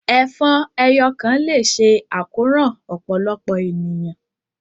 Ẹfọn ẹ́yọ kan le ṣe àkoran ọpọlọpọ éniyàn